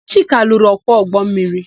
Chika lụrụ ọkwọ ụgbọmmiri.